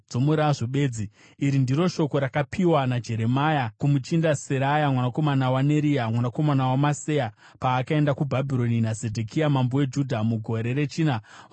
Iri ndiro shoko rakapiwa naJeremia kumuchinda Seraya mwanakomana waNeria, mwanakomana waMaseya, paakaenda kuBhabhironi naZedhekia mambo weJudha mugore rechina rokutonga kwake.